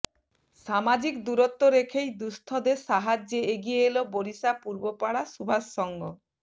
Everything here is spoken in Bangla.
সামাজিক দূরত্ব রেখেই দুঃস্থদের সাহায্যে এগিয়ে এল বরিশা পূর্বপাড়া সুভাষ সংঘ